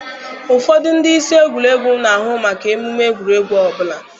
Ụfọdụ ndị isi egwuregwu na-ahụ maka emume egwuregwu ọbụla.